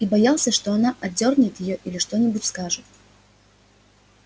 и боялся что она отдёрнет её или что нибудь скажет